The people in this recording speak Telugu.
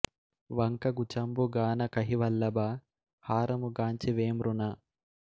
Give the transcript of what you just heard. వంక గుచంబు గాన కహివల్లభ హారము గాంచి వే మృణా